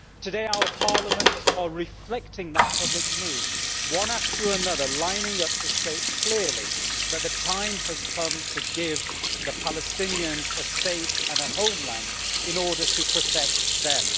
Today our parliaments are reflecting that public mood, one after another lining up to state clearly that the time has come to give the Palestinians a state and a homeland in order to protect them.